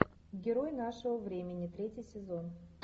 герой нашего времени третий сезон